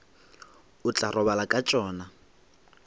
o tla robala ka tšona